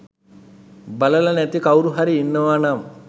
බලල නැති කවුරුහරි ඉන්නවනම්